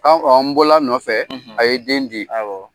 An bɔl'a nɔfɛ, a ye den di.